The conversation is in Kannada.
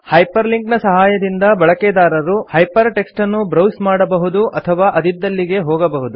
ಹೈಪರ್ ಲಿಂಕ್ ನ ಸಹಾಯದಿಂದ ಬಳಕೆದಾರರು ಹೈಪರ್ ಟೆಕ್ಸ್ಟನ್ನು ಬ್ರೌಸ್ ಮಾಡಬಹುದು ಅಥವಾ ಅದಿದ್ದಲ್ಲಿಗೆ ಹೋಗಬಹುದು